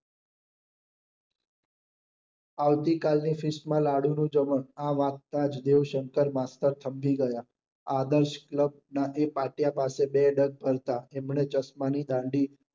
આવતી કાલ ની ડિશ માં લાડુ નું જમણ આ વાંચતાં જ દેવશંકર માસ્ટર થંભી ગયા. આદર્શ ક્લબ ના એ પાટિયા પાસે બે ડગ કરતાં એમને ચશ્મા ની દાંડી